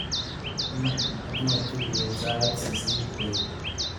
Iman atinye tuiyet sait sisit bet.